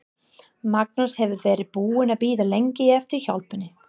Magnús hefur verið búinn að bíða lengi eftir hjálpinni.